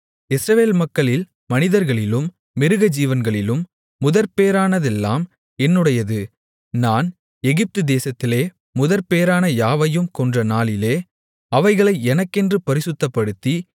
இஸ்ரவேல் மக்களில் மனிதர்களிலும் மிருகஜீவன்களிலும் முதற்பேறானதெல்லாம் என்னுடையது நான் எகிப்துதேசத்திலே முதற்பேறான யாவையும் கொன்ற நாளிலே அவைகளை எனக்கென்று பரிசுத்தப்படுத்தி